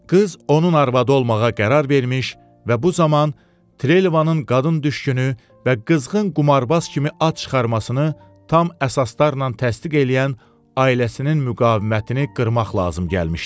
Qız onun arvadı olmağa qərar vermiş və bu zaman Trelevanın qadın düşkünü və qızğın qumarbaz kimi ad çıxarmasını tam əsaslarla təsdiq eləyən ailəsinin müqavimətini qırmaq lazım gəlmişdi.